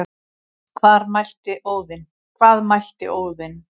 Hvað mælti Óðinn,